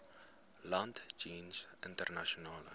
land jeens internasionale